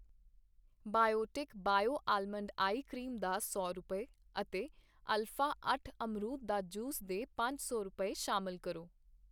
Biotique bio almond eye cream ਦਾ ਸੌ ਰੁਪਏ, ਅਤੇ ਅਲਫਾ ਅੱਠ ਅਮਰੂਦ ਦਾ ਜੂਸ ਦੇ ਪੰਜ ਸੌ ਰੁਪਏ, ਸ਼ਾਮਿਲ ਕਰੋ।